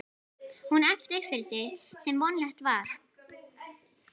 Hún æpti upp yfir sig sem vonlegt var.